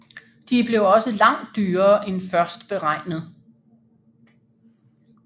De blev også langt dyrere end først beregnet